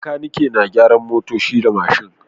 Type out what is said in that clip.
Makaniki na gyaran motoci da mashin